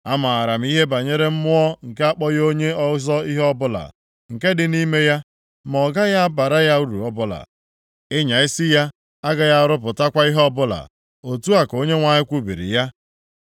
Amaara m ihe banyere mmụọ nke akpọghị onye ọzọ ihe ọbụla, nke dị nʼime ya, ma ọ gaghị abara ya uru ọbụla. Ịnya isi ya agaghị arụpụtakwa ihe ọbụla, otu a ka Onyenwe anyị kwubiri ya.